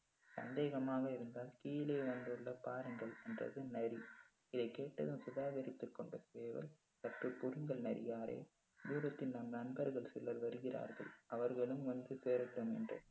சந்தேகமாக இருந்தால் கீழே வந்து பாருங்கள் என்றது நரி இதைக் கேட்டதும் சுதாகரித்துக் கொண்ட சேவல் சற்று பொறுங்கள் நரியாரே தூரத்தில் நம் நண்பர்கள் சிலர் வருகிறார்கள் அவர்களும் வந்து சேரட்டும் என்று